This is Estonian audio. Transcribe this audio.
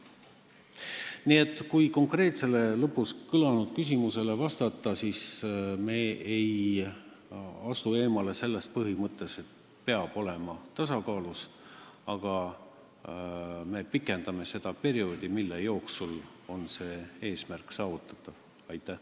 Kui vastata konkreetsele lõpus kõlanud küsimusele, siis ütlen, et me ei eemaldu sellest põhimõttest, et peab olema tasakaalus, aga me pikendame seda perioodi, mille jooksul see eesmärk saavutatakse.